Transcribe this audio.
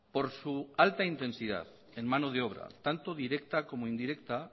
por su alta intensidad en mano de obra tanto directa como indirecta